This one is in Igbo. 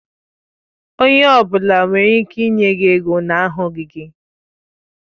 Onye ọ bụla nwere ike ịnye gi ego na ahụghị gi